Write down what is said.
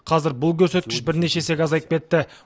қазір бұл көрсеткіш бірнеше есеге азайып кетті